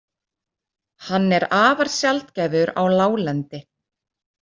Hann er afar sjaldgæfur á láglendi.